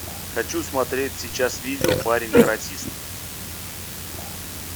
хочу смотреть сейчас видео парень каратист